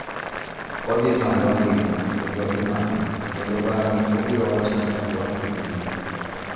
Odhi malo ahinya kendo imake kendo bang’e obiro wacho ni “orwak e pinyni,”